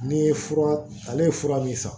N'i ye fura ale ye fura min san